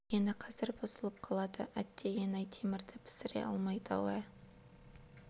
қазір жөндегені қазір бұзылып қалады әттегене-ай темірді пісіре алмайды-ау ә